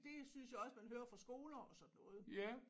Det synes jeg også man hører fra skoler og sådan noget